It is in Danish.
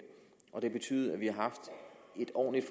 og det har betydet at vi har haft et ordentligt